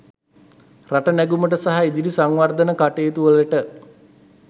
රට නැගුමට සහ ඉදිරි සංවර්ධන කටයුතු වලට